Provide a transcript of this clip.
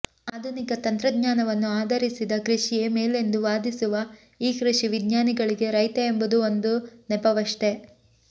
ಆಧುನಿಕ ತಂತ್ರಜ್ಞಾನವನ್ನು ಆಧರಿಸಿದ ಕೃಷಿಯೇ ಮೇಲೆಂದು ವಾದಿಸುವ ಈ ಕೃಷಿ ವಿಜ್ಞಾನಿಗಳಿಗೆ ರೈತ ಎಂಬುದು ಒಂದು ನೆಪವಷ್ಟೆ